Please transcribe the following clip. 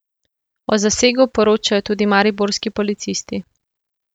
O zasegu poročajo tudi mariborski policisti.